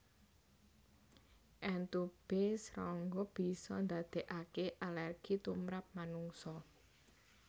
Entubé srangga bisa ndadekake alergi tumrap manungsa